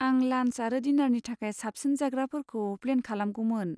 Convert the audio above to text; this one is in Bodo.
आं लान्च आरो डिनारनि थाखाय साबसिन जाग्राफोरखौ प्लेन खालामगौमोन।